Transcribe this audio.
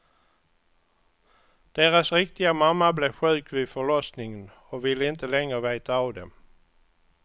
Deras riktiga mamma blev sjuk vid förlossningen och vill inte längre veta av dem.